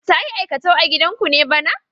Ta yi aikatau a gidanku ne bana?